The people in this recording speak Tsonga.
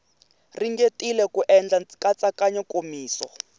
ringetile ku endla nkatsakanyo nkomiso